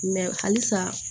halisa